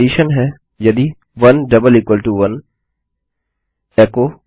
मेरी शर्त है यदि 11 एचो